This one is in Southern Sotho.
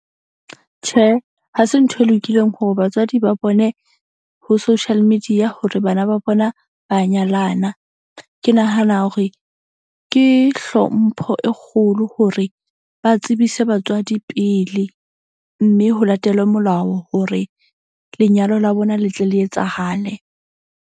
Tjhe, ha se ntho e lokileng hore batswadi ba bone ho social media hore bana ba bona ba nyalana. Ke nahana hore ke hlompho e kgolo hore ba tsebise batswadi pele. Mme ho latelwe molao hore lenyalo la bona le tle le etsahale.